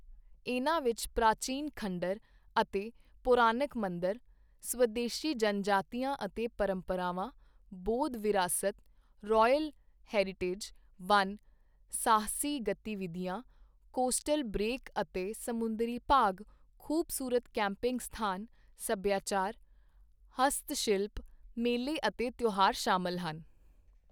ਇਨ੍ਹਾਂ ਵਿੱਚ ਪ੍ਰਾਚੀਨ ਖੰਡਰ ਅਤੇ ਪੌਰਾਣਿਕ ਮੰਦਰ, ਸਵਦੇਸ਼ੀ ਜਨਜਾਤੀਆਂ ਅਤੇ ਪਰੰਪਰਾਵਾਂ, ਬੌਧ ਵਿਰਾਸਤ, ਰੌਇਲ ਹੈਰੀਟੇਜ, ਵਣ, ਸਾਹਸੀ ਗਤੀਵਿਧੀਆਂ, ਕੋਸਟਲ ਬਰੇਕ ਅਤੇ ਸਮੁੰਦਰੀ ਭਾਗ, ਖੂਬਸੂਰਤ ਕੈਂਪਿੰਗ ਸਥਾਨ, ਸੱਭਿਆਚਾਰ, ਹਸਤਸ਼ਿਲਪ, ਮੇਲੇ ਅਤੇ ਤਿਓਹਾਰ ਸ਼ਾਮਲ ਹਨ।